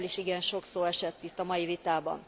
Erről is igen sok szó esett itt a mai vitában.